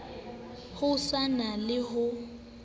ho sa na le ho